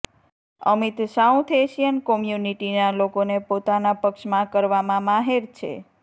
Amit south Asian કોમ્યુનિટીના લોકોને પોતાના પક્ષમાં કરવામાં માહેર છે